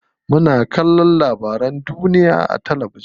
Muna kallon labarun duniya a talabijin.